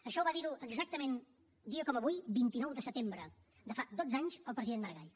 això ho va dir exactament un dia com avui vint nou de setembre de fa dotze anys el president maragall